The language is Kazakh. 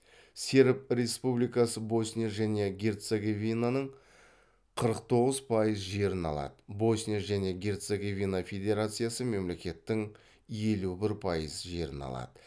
серб республикасы босния және герцеговинаның қырық тоғыз пайыз жерін алады босния және герцеговина федерациясы мемлекеттің елу бір пайыз жерін алады